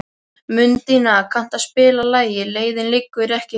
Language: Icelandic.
Mundína, kanntu að spila lagið „Leiðin liggur ekki heim“?